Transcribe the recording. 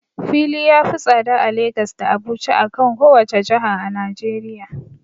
Fili ya fi tsada a Lagas da Abuja, akan kowace jiha a najeriya.